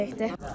Çox qəşəngdir.